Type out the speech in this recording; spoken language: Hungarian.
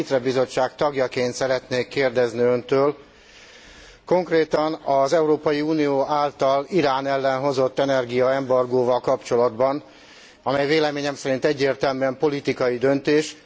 Az ITRE Bizottság tagjaként szeretnék kérdezni Öntől konkrétan az Európai Unió által Irán ellen hozott energiaembargóval kapcsolatban, amely véleményem szerint egyértelműen politikai döntés.